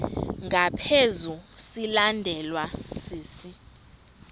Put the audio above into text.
ngaphezu silandelwa sisi